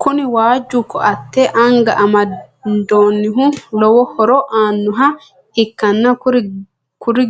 Kuni waajju koatte anga amandoonnihu lowo horo aannoha ikkanna kuri